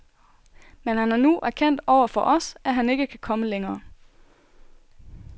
Men han har nu erkendt over for os, at han ikke kan komme længere.